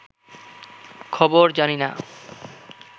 খবর জানিনা